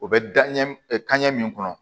O bɛ da ɲɛ kanɲɛ min kɔnɔ